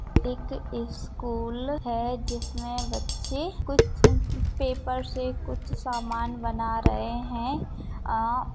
एक स्कूल है जिसमे बच्चे कुछ पेपर से कुछ सामान बना रहे है आ --